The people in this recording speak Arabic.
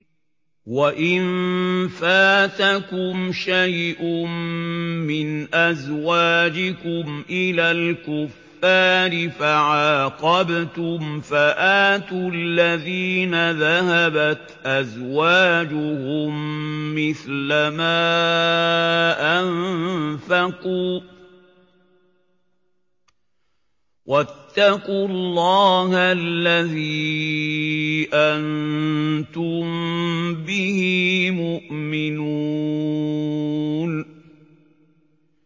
وَإِن فَاتَكُمْ شَيْءٌ مِّنْ أَزْوَاجِكُمْ إِلَى الْكُفَّارِ فَعَاقَبْتُمْ فَآتُوا الَّذِينَ ذَهَبَتْ أَزْوَاجُهُم مِّثْلَ مَا أَنفَقُوا ۚ وَاتَّقُوا اللَّهَ الَّذِي أَنتُم بِهِ مُؤْمِنُونَ